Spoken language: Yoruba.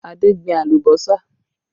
Adé gbìn alùbọ́sà